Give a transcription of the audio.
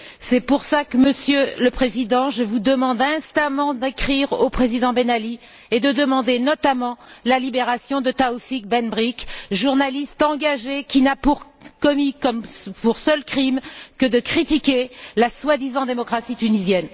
C'est pour cela, Monsieur le Président, que je vous demande instamment d'écrire au président Ben Ali et de demander, notamment, la libération de Taoufik Ben Brik, journaliste engagé qui n'a commis comme seul crime que celui de critiquer la soi disant démocratie tunisienne.